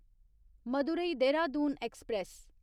Madurai Dehradun express